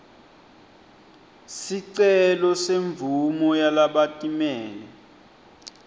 sicelo semvumo yalabatimele